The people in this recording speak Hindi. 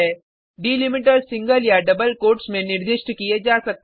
डिलिमीटर्स सिंगल या डबल कोट्स में निर्दिष्ट किये जा सकते हैं